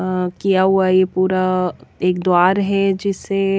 अअ किया हुआ ये पूरा एक द्वार हैजिसे--